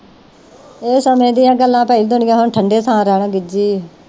ਇਹ ਸਮੇ ਦੀਆ ਗੱਲਾਂ ਪਈ ਦੁਨੀਆ ਹੁਣ ਠੰਡੇ ਥਾਂ ਰਹਿਣ ਗਿਜੀ ਆ।